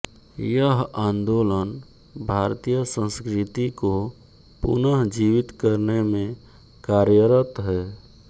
यह आन्दोलन भारतीय संस्कृति को पुनः जीवित करने में कार्यरत है